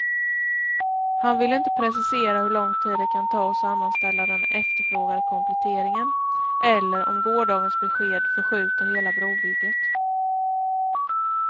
Han vill inte precisera hur lång tid det kan ta att sammanställa den efterfrågade kompletteringen eller om gårdagens besked förskjuter hela brobygget.